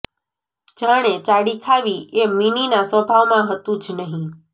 જાણે ચાડી ખાવી એ મીનીના સ્વભાવમાં હતું જ નહીં